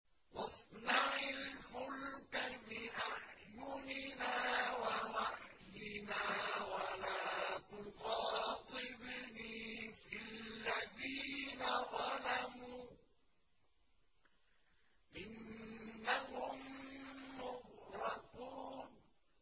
وَاصْنَعِ الْفُلْكَ بِأَعْيُنِنَا وَوَحْيِنَا وَلَا تُخَاطِبْنِي فِي الَّذِينَ ظَلَمُوا ۚ إِنَّهُم مُّغْرَقُونَ